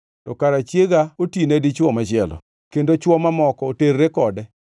to kara chiega otine dichwo machielo, kendo chwo mamoko oterre kode.